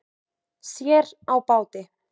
Sér á báti.